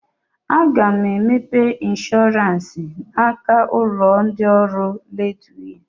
Aga m emepe ịnshọransị n'aka ndị ụlọ ọrụ Leedwey